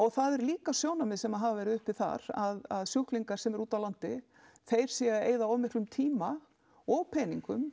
það eru líka sjónarmið sem hafa verið uppi þar að sjúklingar sem eru út á landi þeir séu að eyða of miklum tíma og peningum